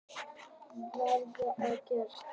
Afar snyrtilega gert